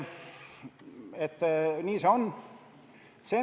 Nii see on.